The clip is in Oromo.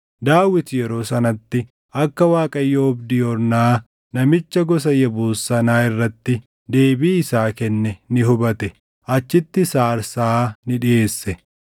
Daawit yeroo sanatti akka Waaqayyo oobdii Ornaa namicha gosa Yebuus sanaa irratti deebii isaa kenne ni hubate; achittis aarsaa ni dhiʼeesse.